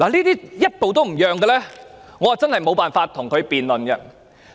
對於這一些人，我真的無法跟他們辯論。